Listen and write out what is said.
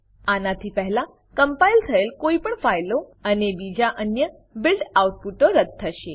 આનાથી પહેલા કમ્પાઈલ થયેલ કોઈપણ ફાઈલો અને બીજા અન્ય બીલ્ડ આઉટપુટો રદ્દ થશે